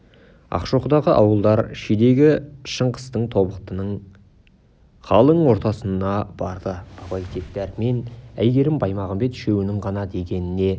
ақшоқыдағы ауылдар шидегі шыңғыстағы тобықтының қалың ортасына барды абай тек дәрмен әйгерім баймағамбет үшеуінің ғана дегеніне